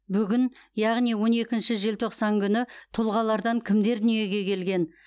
бүгін яғни он екінші желтоқсан күні тұлғалардан кімдер дүниеге келген